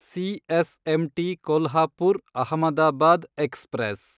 CSMT Kolhapur, Ahmedabad express